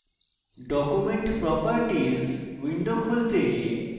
document properties window খুলতে